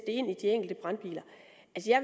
ind i de enkelte brandbiler